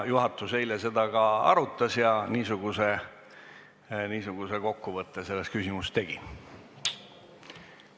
Juhatus eile seda arutas ja niisuguse kokkuvõtte selles küsimuses tegi.